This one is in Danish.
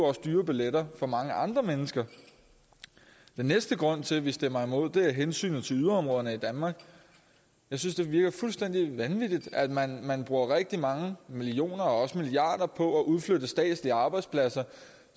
også dyrere billetter for mange andre mennesker den næste grund til at vi stemmer imod er hensynet til yderområderne i danmark jeg synes det virker fuldstændig vanvittigt at man bruger rigtig mange millioner og også milliarder på at udflytte statslige arbejdspladser